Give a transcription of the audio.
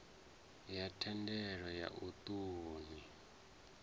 ya thendelo ya u ṱun